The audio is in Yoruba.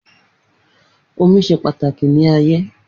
omi se pàtàkì ní ayé